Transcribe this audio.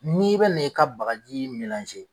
N'i bɛ na i ka bagaji